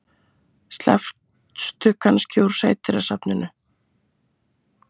Slappstu kannski úr Sædýrasafninu?